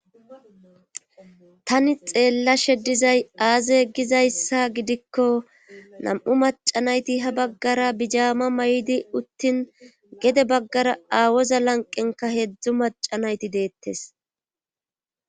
Tani xeellashe dizay aaze gizayssa gidikko nam'u macanayti ha baggara bijaama may'di uttin gede baggara aawoza lanqenka heedzdzu macanayti deettes.